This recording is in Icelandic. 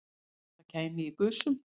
Þetta kæmi í gusum